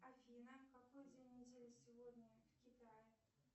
афина какой день недели сегодня в китае